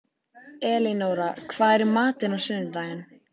Elinóra, hvað er í matinn á sunnudaginn?